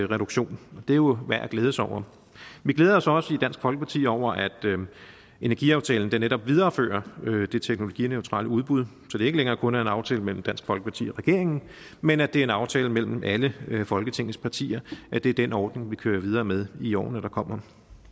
reduktion og det er jo værd at glæde sig over vi glæder os også i dansk folkeparti over at energiaftalen netop viderefører det teknologineutrale udbud så det ikke længere kun er en aftale mellem dansk folkeparti og regeringen men at det er en aftale mellem alle folketingets partier at det er den ordning vi kører videre med i årene der kommer